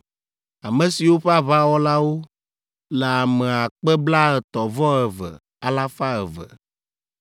ame siwo ƒe aʋawɔlawo le ame akpe blaetɔ̃-vɔ-eve, alafa eve (32,200).